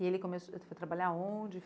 E ele começou foi trabalhar aonde?